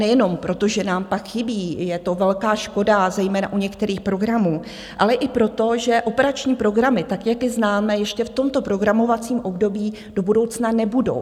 Nejenom proto, že nám pak chybí, je to velká škoda zejména u některých programů, ale i proto, že operační programy, tak jak je známe ještě v tomto programovacím období, do budoucna nebudou.